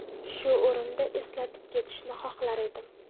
Shu o‘rinda eslatib ketishni xohlar edim.